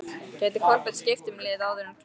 Gæti Kolbeinn skipt um lið áður en glugginn lokar?